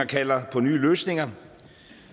kalder på nye løsninger